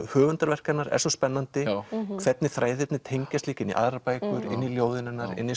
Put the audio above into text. höfundarverk hennar er svo spennandi hvernig þræðirnir tengjast líka inn í aðrar bækur inn í ljóðin hennar